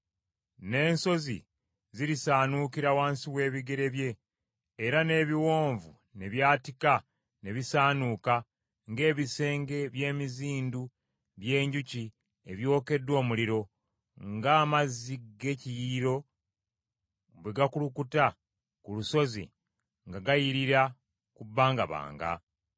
N’ensozi zirisaanuukira wansi w’ebigere bye era n’ebiwonvu ne byatika ne bisaanuuka ng’ebisenge by’emizindu by’enjuki ebyokeddwa omuliro, ng’amazzi g’ekiyiriro bwe gakulukuta ku lusozi nga gayirira ku bbangabanga.